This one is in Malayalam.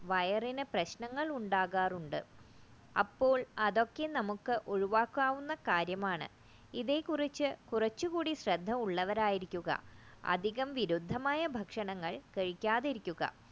വയറിനു പ്രശ്നങ്ങളുണ്ടാകാറുണ്ട് അപ്പോൾ അതൊക്കെ നമുക്ക് ഒഴിവാക്കാവുന്ന കാര്യമാണ് ഇവയെ കുറിച്ച് കുറച്ചുകൂടി ശ്രദ്ധ ഉള്ളവരായിരിക്കുക അധികം ബിരുദമായ ഭക്ഷണങ്ങൾ കഴിക്കാതിരിക്കുപതുക